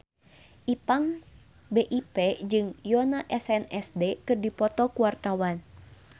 Ipank BIP jeung Yoona SNSD keur dipoto ku wartawan